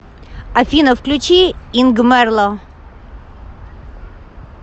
афина включи ингмэрло